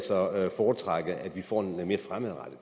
foretrække at vi får en mere fremadrettet